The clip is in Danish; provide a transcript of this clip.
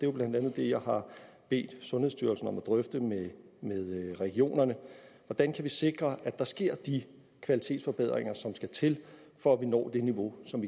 jo blandt andet det jeg har bedt sundhedsstyrelsen om at drøfte med regionerne hvordan kan vi sikre at der sker de kvalitetsforbedringer som skal til for at vi når det niveau som